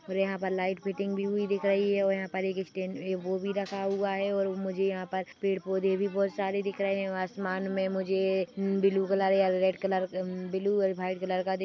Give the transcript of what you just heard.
-- और यहाँ पर लाइट फिटिंग भी हुई दिख रही है और यहाँ पर एक स्टैंड ए वो भी रखा हुआ है और मुझे यहाँ पर पड़े-पौधे भी बहुत सारे दिख रहे है और आसमान में मुझे ब्लू कलर या रेड कलर मम ब्लू और वाइट कलर का दिख--